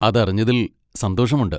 അതറിഞ്ഞതിൽ സന്തോഷമുണ്ട്.